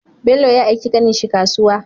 Bello ya aiki ƙanin shi kasuwa